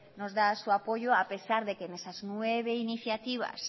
nos da su apoyo a pesar que en esas nueve iniciativas